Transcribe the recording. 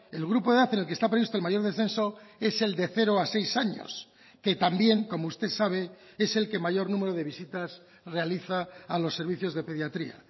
el grupo de edad en el que está previsto el mayor descenso es el de cero a seis años que también como usted sabe es el que mayor número de visitas realiza a los servicios de pediatría